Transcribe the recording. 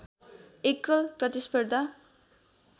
एकल प्रतिस्पर्धा